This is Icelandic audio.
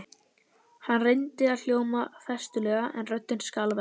Hann reyndi að hljóma festulega en röddin skalf enn.